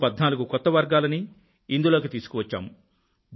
మరో 14 కొత్త వర్గాలని ఇందులోకి తీసుకువచ్చాము